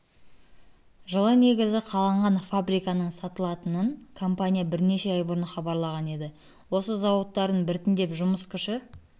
жылы негізі қаланған фабриканың сатылатынын компания бірнеше ай бұрын хабарлаған еді өз зауыттарын біртіндеп жұмыс күші